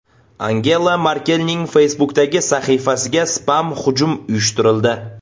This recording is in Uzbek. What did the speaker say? Angela Merkelning Facebook’dagi sahifasiga spam-hujum uyushtirildi.